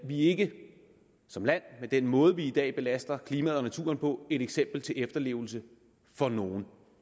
vi er ikke som land med den måde vi i dag belaster klimaet og naturen på et eksempel til efterlevelse for nogen